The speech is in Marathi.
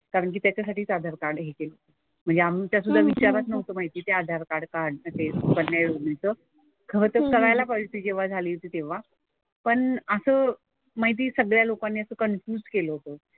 कारण की त्याच्यासाठीच आधार कार्ड हे केलं. म्हणजे आमच्या सुद्धा विचारात नव्हतं माहिती ते आधार कार्ड काढणं ते सुकन्या योजनेचं. खरंतर करायला पाहिजे होती जेव्हा झाली होती तेव्हा. पण असं माहिती सगळ्या लोकांनी असं कन्फ्युज केलं होतं.